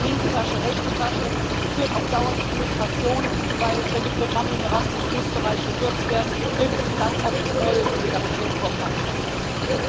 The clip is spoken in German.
Das ist linke Tasche, rechte Tasche und führt auf Dauer zu Frustration, denn wenn die Programme im Erasmus-Bereich gekürzt werden, hilft uns auch das neue Solidaritätskorps keinen Schlag weiter.